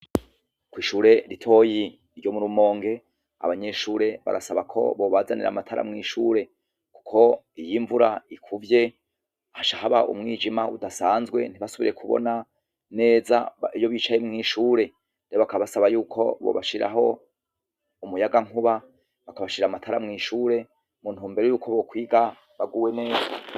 Kw'ishure ritoyi ryo mu Rumonge, abanyeshure barasaba ko bobazanira amatara mw'ishure. Kuko iyo imvura ikuvye, haca haba umwijima udasanzwe, ntihasubire kubona neza iyo bicaye mw'ishure. Rero bakabasaba yuko bobashiriraho umuyagankuba, bakabashirira amatara mw'ishure mu ntumbero y'uko bokwiga baguwe neza.